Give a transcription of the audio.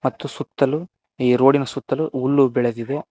ಮತ್ತು ಸುತ್ತಲೂ ಈ ರೋಡ್ ಇನ್ ಸುತ್ತಲೂ ಹುಲ್ಲು ಬೆಳದಿವೆ.